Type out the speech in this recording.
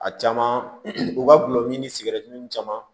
A caman u ka gulɔmin ni sigɛritimin